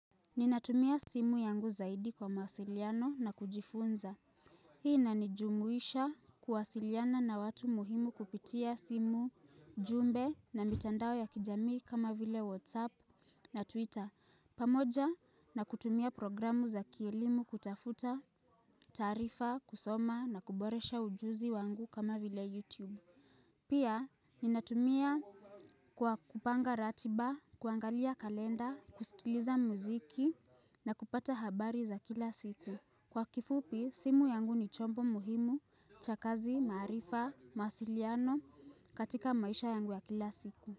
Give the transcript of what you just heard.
Ninatumia simu yangu zaidi kwa mawasiliano na kujifunza Hii inanijumuisha kuwasiliana na watu muhimu kupitia simu jumbe na mitandao ya kijamii kama vile whatsapp na twitter pamoja na kutumia programu za kielimu kutafuta taarifa, kusoma na kuboresha ujuzi wangu kama vile youtube Pia, ninatumia kwa kupanga ratiba, kuangalia kalenda, kusikiliza muziki na kupata habari za kila siku. Kwa kifupi, simu yangu ni chombo muhimu cha kazi, maarifa, mawasiliano katika maisha yangu ya kila siku.